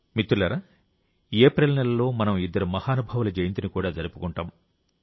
మిత్రులారా ఏప్రిల్ నెలలో మనం ఇద్దరు మహానుభావుల జయంతిని కూడా జరుపుకుంటాం